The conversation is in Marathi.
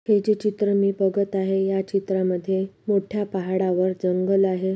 हे जे चित्र मी बघत आहे या चित्रांमध्ये मोठ्या पहाडावर जंगल आहे.